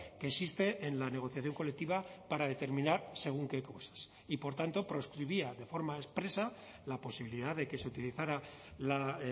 que existe en la negociación colectiva para determinar según qué cosas y por tanto proscribía de forma expresa la posibilidad de que se utilizara la